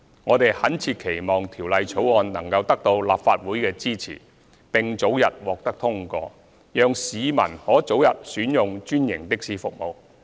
我們懇切期望《條例草案》能得到立法會的支持，並早日獲得通過，讓市民可早日選用專營的士服務。